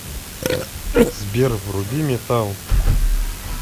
сбер вруби метал